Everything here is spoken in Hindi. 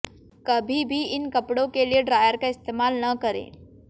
कभी भी इन कपड़ों के लिए ड्रायर का इस्तेमाल न करें